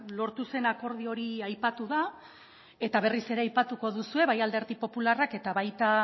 lortu zen akordio hori aipatu da eta berriz ere aipatuko duzue bai alderdi popularrak eta baita